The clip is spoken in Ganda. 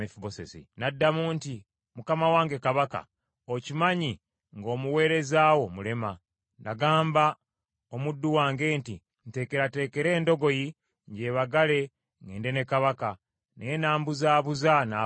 N’addamu nti, “Mukama wange, kabaka, okimanyi nga omuweereza wo mulema. Nagamba omuddu wange nti, ‘Ntekerateekera endogoyi, njebagale, ŋŋende ne kabaka,’ naye n’ambuzaabuza, n’abulawo.